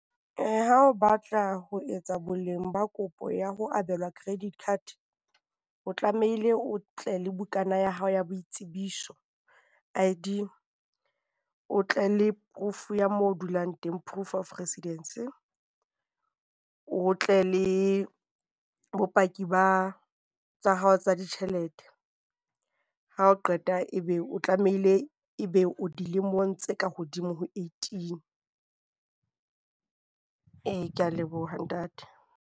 Ha o batla ho etsa boleng ba kopo ya ho abelwa credit card, o tlamehile o tle le bukana ya hao ya boitsebiso, I_D. O tle le proof ya moo o dulang teng, proof of residence. O tle le bopaki ba tsa hao tsa ditjhelete. Ha o qeta e be o tlamehile e be o dilemong tse ka hodimo ho eighteen. Ee ke a leboha ntate.